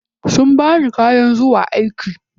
Sun bani kayan zuwa aiki.